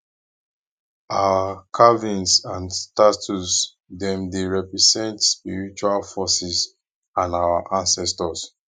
our carvings and statues dem dey represent spiritual forces and our ancestors